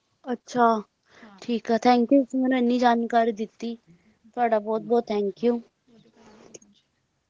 ਅੱਛਾ ਠੀਕ ਆ Thank you ਤੁਸੀ ਮੈਨੂੰ ਇੰਨੀ ਜਾਣਕਾਰੀ ਦਿੱਤੀ ਤੁਹਾਡਾ ਬਹੁਤ ਬਹੁਤ Thank you